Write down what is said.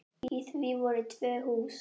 Í því voru tvö hús.